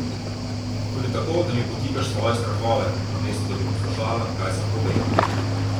Tudi tako, da mi podtikaš svoje strahove, namesto, da bi poslušala, kaj sem povedal.